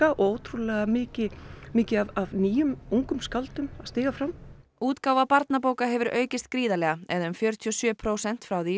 og ótrúlega mikið mikið af nýjum ungum skáldum að stíga fram útgáfa barnabóka hefur aukist gríðarlega eða um fjörutíu og sjö prósent frá því